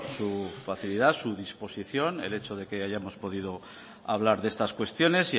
su facilidad su disposición el hecho de que hayamos podido hablar de estas cuestiones